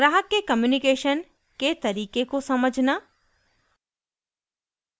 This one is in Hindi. ग्राहक के कम्यूनिकेशन के तरीके को समझना